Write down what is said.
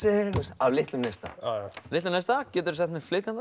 af litlum neista af litlum neista geturðu sagt mér